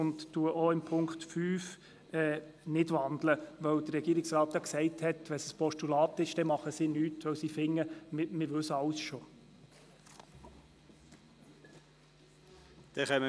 Ich wandle auch den Punkt 5 nicht, denn der Regierungsrat hat ja gesagt, wenn der Punkt 5 ein Postulat wäre, würde die Regierung nichts tun, weil man schon alles wisse.